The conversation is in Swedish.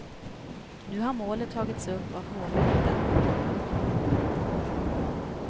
Nu har målet tagits upp av hovrätten.